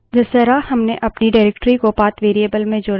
जिस तरह हमने अपनी निर्देशिका directory को path variable में जोड़ा था